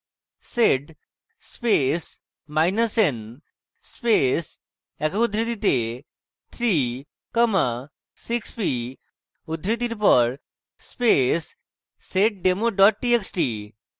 sed space minus n space একক উদ্ধৃতিতে 3 comma 6p space seddemo txt txt